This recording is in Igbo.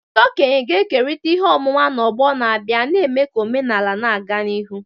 Ndị okenye ga-ekerịta ihe ọmụma na ọgbọ na-abịa, na-eme ka omenala na-aga n'ihu.